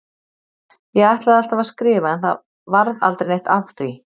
Ég ætlaði alltaf að skrifa en það varð aldrei neitt af því.